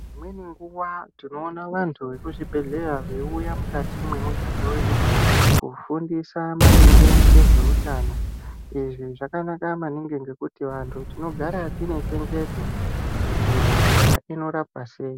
Imweni nguwa tinoona vantu vemuzvibhedhleya veiuya mukati mwemuganga wedu, kufundisa maringe ngezveutano. Izvi zvakanaka maningi, ngekuti vantu tinogara tine chenjedzo kuti hosha inorapwa sei.